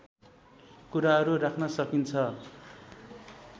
कुराहरू राख्न सकिन्छ